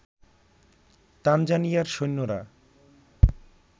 তানজানিয়ার সৈন্যরা